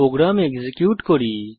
programme execute করি